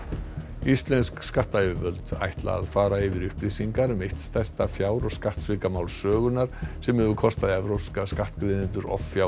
íslensk skattayfirvöld ætla að fara yfir upplýsingar um eitt stærsta fjár og skattsvikamál sögunnar sem hefur kostað evrópska skattgreiðendur offjár